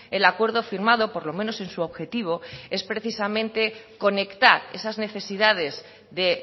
el acuerdo firmado por lo menos en su objetivo es precisamente conectar esas necesidades de